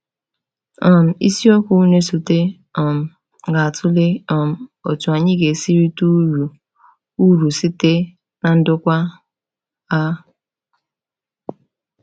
um Isiokwu na-esote um ga-atụle um otú anyị ga-esi rite uru uru site na ndokwa a.